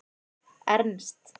Ernst